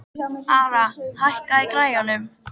Ara, hækkaðu í græjunum.